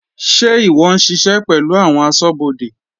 Sé ìwọ ń ṣiṣẹ́ pẹ̀lú àwọn asọ́bodè?